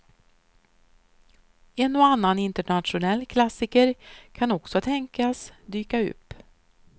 En och annan internationell klassiker kan också tänkas dyka upp.